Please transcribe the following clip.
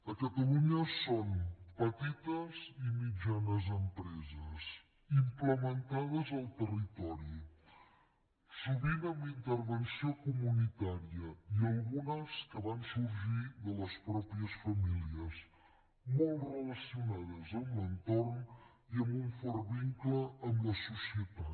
a catalunya són petites i mitjanes empreses implementades al territori sovint amb intervenció comunitària i algunes que van sorgir de les mateixes famílies molt relacionades amb l’entorn i amb un fort vincle amb la societat